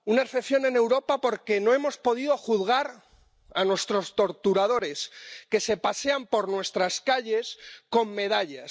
una excepción en Europa porque no hemos podido juzgar a nuestros torturadores, que se pasean por nuestras calles con medallas.